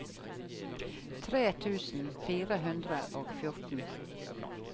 tre tusen fire hundre og fjorten